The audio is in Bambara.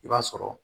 I b'a sɔrɔ